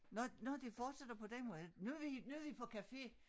Nå nå det fortsætter på den måde nu vi nu vi på café